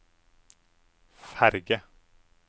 ferge